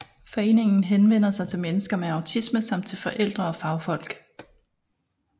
Foreningen henvender sig til mennesker med autisme samt til forældre og fagfolk